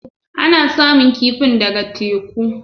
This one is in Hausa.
Ana samun kifin ɗaga teku